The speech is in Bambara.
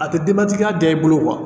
A tɛ denbatigiya jɛ i bolo kuwa